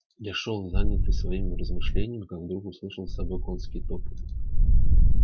я шёл занятый своими размышлениями как вдруг услышал за собою конский топот